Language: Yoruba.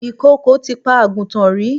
Ìkokò ti pa àgùntàn rí.